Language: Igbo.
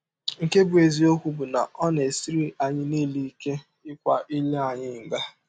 Nke bụ́ eziọkwụ bụ na ọ na - esiri anyị niile ike ịkwa ire anyị nga.